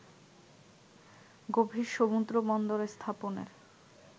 গভীর সমুদ্রবন্দর স্থাপনের